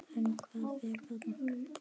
En hvað fer þarna fram?